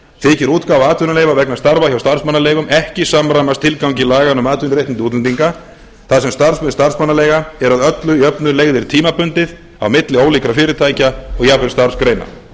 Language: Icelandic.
þykir útgáfa atvinnuleyfa vegna starfa hjá starfsmannaleigum ekki samræmast tilgangi laganna um atvinnuréttindi útlendinga þar sem starfssvið starfsmannaleiga er að öllu jöfnu leigðir tímabundið á milli ólíkra fyrirtækja og jafnvel starfsgreina